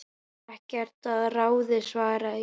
Ekkert að ráði svaraði ég.